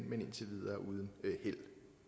men indtil videre uden held